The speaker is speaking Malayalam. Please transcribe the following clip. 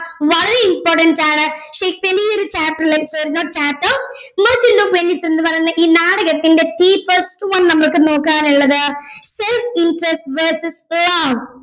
വളരെ importance ആണ് ഷേക്സ്പിയറിന്റെ ഈ ഒരു chapter merchant of venice എന്ന് പറയുന്ന ഈ നാടകത്തിന്റെ first one നമുക്ക് നോക്കാനുള്ളത് self interest verses love